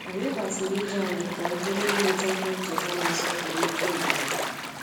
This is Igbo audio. Anyị gbatịrị ije anyị ka ọ gụnye ileta ihe ncheta na-asọpụrụ ike obodo